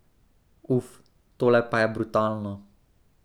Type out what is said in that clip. Uf, tole pa je brutalno.